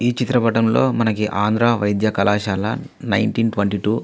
ఈ చిత్ర పటంలో మనకి ఆంధ్ర వైద్య కళాశాల నేనేటీన్ ట్వంటీ టూ --